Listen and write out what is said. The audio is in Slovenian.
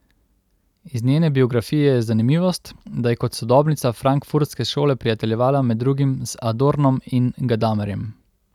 Iz njene biografije je zanimivost, da je kot sodobnica frankfurtske šole prijateljevala med drugim z Adornom in Gadamerjem.